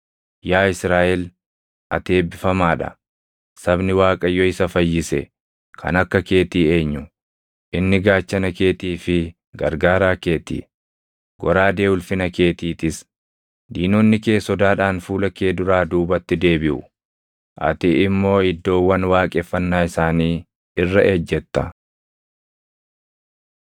Yaa Israaʼel, ati eebbifamaa dha! Sabni Waaqayyo isa fayyise, kan akka keetii eenyu? Inni gaachana keetii fi gargaaraa kee ti; goraadee ulfina keetiitis. Diinonni kee sodaadhaan fuula kee duraa duubatti deebiʼu; ati immoo iddoowwan waaqeffannaa isaanii irra ejjetta.”